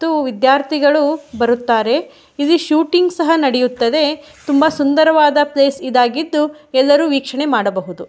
ಇದು ವಿದ್ಯಾರ್ಥಿಗಳು ಬರುತ್ತಾರೆ ಇಲ್ಲಿ ಶೂಟಿಂಗ್ ಸಹ ನಡಿಯುತ್ತದೆ ತುಂಬ ಸುಂದರವಾದ ಪ್ಲೇಸ್ ಈದ್ ಆಗಿದ್ದು ಎಲ್ಲರೂ ವೀಕ್ಷಣೆ ಮಡಬೊಹುದು.